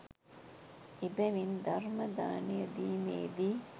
එබැවින් ධර්මදානය දීමේ දී